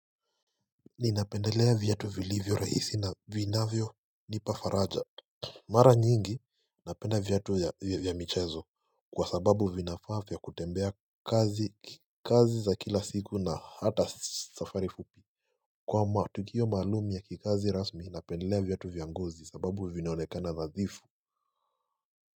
Ninapendelea viatu vilivyo rahisi na Vinavyonipa faraja Mara nyingi Napenda viatu ya michezo kwa sababu vinafaa vya kutembea kazi za kila siku na hata safari fupi kwamba tukio maalum ya kikazi rasmi napendelea viatu vya ngozi sababu vinaonekana nadhifu.